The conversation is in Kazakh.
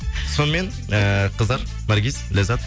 сонымен эээ қыздар наргиз ләззат